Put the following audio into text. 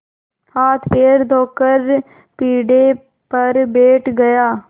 हाथपैर धोकर पीढ़े पर बैठ गया